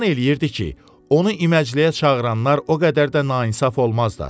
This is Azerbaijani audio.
Güman eləyirdi ki, onu iməcəliyə çağıranlar o qədər də nainaf olmazlar.